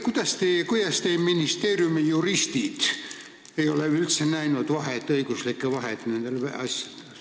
Kuidas teie ministeeriumi juristid ei ole üldse nendel asjadel õiguslikku vahet näinud?